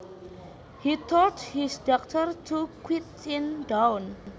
He told his daughter to quieten down